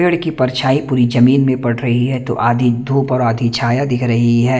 पेड़ की परछाई पूरी जमीन में पड रही है तो आधी धूप और आधी छाया दिख रही है।